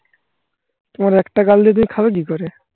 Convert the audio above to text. তোমার একটা গাল দিয়ে তুমি খাবে কি করে?